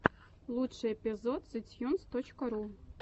лучший эпизод зэтьюнс точка ру